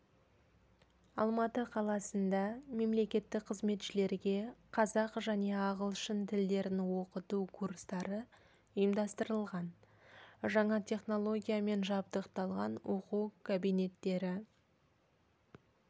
алматы қаласында мемлекеттік қызметшілерге қазақ және ағылшын тілдерін оқыту курстары ұйымдастырылған жаңа технологиямен жабдықталған оқу кабинеттері